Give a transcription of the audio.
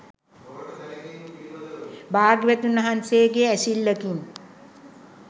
භාග්‍යවතුන් වහන්සේගේ ඇසිල්ලෙකින්